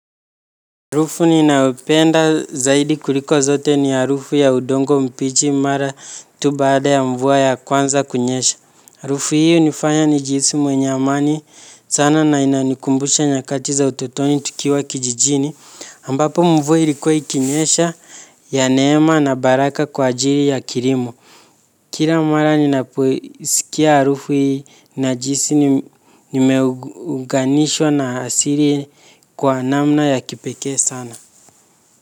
Harufu ninayo penda zaidi kuliko zote ni harufu ya udongo mbichi mara tu baada ya mvua ya kwanza kunyesha. Harufu hii hunifanya nijihisi mwenye amani sana na inanikumbusha nyakati za utotoni tukiwa kijijini. Ambapo mvua ilkua ikinyesha ya neema na baraka kwa ajili ya kilimo. Kila mara ninapoisikia harufu najihisi nimeuganishwa na asili kwa namna ya kipekee sana.